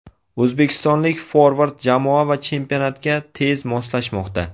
O‘zbekistonlik forvard jamoa va chempionatga tez moslashmoqda.